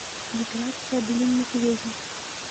миграция блинных ведьм